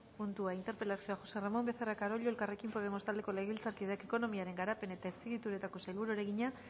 puntua interpelazioa josé ramón becerra carollo elkarrekin podemos taldeko legebiltzarkideak ekonomiaren garapen eta azpiegituretako sailburuari egina